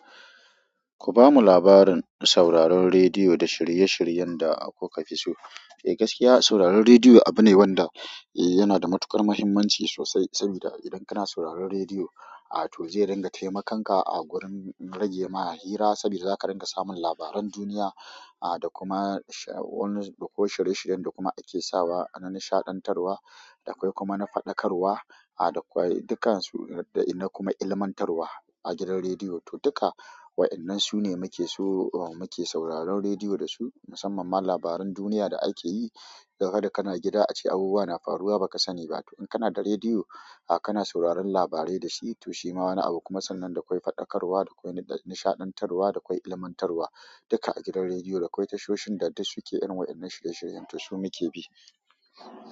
Ku bamu labarin sauraron rediyo da shirye-shiryen da kuka fi so. E gaskiya sauraron redio abu ne wanda e yana da matuƙar muhimanci sosai sabida idan kana sauraron redio a toh zai ringa taimakon ka a gurin ragema hira sabida zaka dinga samun labaran duniya a da kuma sha wani da ko shirye-shiryen da kuma ake sawa a na nishaɗantarwa, d akwai kuma na faɗakarwa, a da kwai dukansu da ina kuma ilmantarwa a gidan rediyo. To duka waƴannan su ne muke so uh muke sauraron rediyo da su, musamman ma labaran duniya da ake yi. Gaga da kana gida ace abubuwa na faruwa ba ka sani ba. To in kana da rediyo, a kana sauraron labarai da shi to shi ma wani abu kuma sannan dakwai faɗakarwa, dakwai nishaɗantarwa, dakwai ilmantarwa, duka a gidan rediyo. Da kwai tashoshin da duk suke irin waƴannan shirye-shirye, to su muke bi.